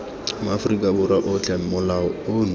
maaforika borwa otlhe molao ono